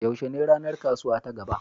Yaushe ne ranar kasuwa ta gaba?